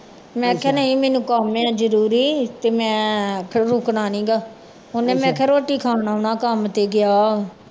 ਮੈਂ ਕਿਹਾ ਨਹੀਂ ਮੈਨੂੰ ਕੰਮ ਆਂ ਜ਼ਰੂਰੀ ਤੇ ਮੈਂ ਫਿਰ ਰੁੱਕਣਾ ਨੀ ਗਾ ਉਹਨੇ ਮੈਂ ਕਿਹਾ ਰੋਟੀ ਖਾਣ ਆਉਣ ਕੰਮ ਤੇ ਗਿਆ।